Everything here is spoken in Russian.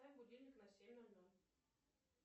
поставь будильник на семь ноль ноль